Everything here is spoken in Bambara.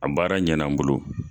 A baara ɲana n bolo.